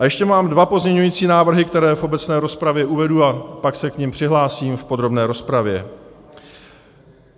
A ještě mám dva pozměňující návrhy, které v obecné rozpravě uvedu a pak se k nim přihlásím v podrobné rozpravě.